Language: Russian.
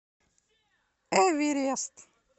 эверест